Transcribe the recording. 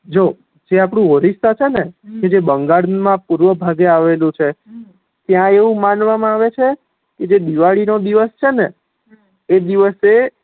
જો જે અપડું ઓડીશા છે ને કે જે બંગાળ મા પૂર્વ ભાગે આવેલું છ ત્યાં આવું માનવા મા આવે છે કે જે દિવાળી નો દિવસ છે ન એ દિવસે